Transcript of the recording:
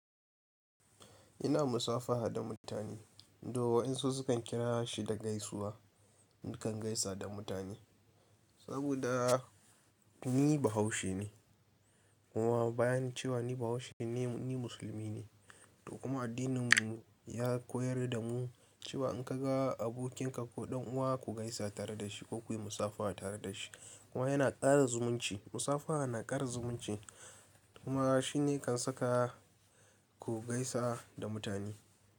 Ina musafaha da mutane. Do wa'yansu sukan kira shi da gaisuwa. Nikan gaisa da mutane saboda ni bahaushe ne. Kuma bayan cewa ni bahaushe ne, ni musulmi ne. To kuma addininmu ya koyar da mu cewa in ka ga abokinka ko ɗan uwa ku gaisa tare da shi ko ku yi musafaha tare da shi. Kuma yana ƙara zumunci. Musafaha na ƙara zumunci kuma shi ne kan saka ku gaisa da mutane.